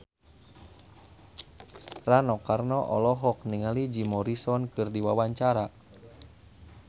Rano Karno olohok ningali Jim Morrison keur diwawancara